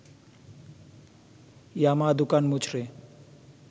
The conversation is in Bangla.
ইয়ামা দুকান মুচড়ে